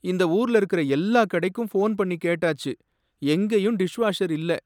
இந்த ஊர்ல இருக்கிற எல்லா கடைக்கும் ஃபோன் பண்ணி கேட்டாச்சு, எங்கயும் டிஷ்வாஷர் இல்ல.